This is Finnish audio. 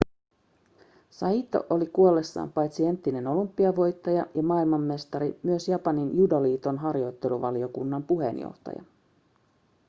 saito oli kuollessaan paitsi entinen olympiavoittaja ja maailmanmestari myös japanin judoliiton harjoitteluvaliokunnan puheenjohtaja